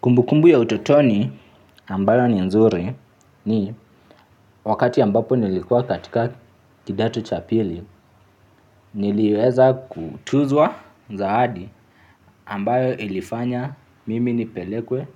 Kumbukumbu ya utotoni ambayo ni nzuri ni wakati ambapo nilikuwa katika kidato cha pili niliweza kutuzwa zawadi ambayo ilifanya mimi nipelekwe